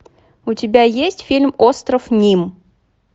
у тебя есть фильм остров ним